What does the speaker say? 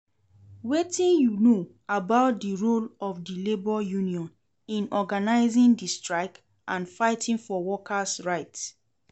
Wetin you know about di role of di labor union in organizing di strike and fighting for worker's right?